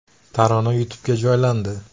Tarona YouTube’ga joylandi .